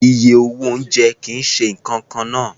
Iye owó oúnjẹ kì í ṣe nǹkan kan náà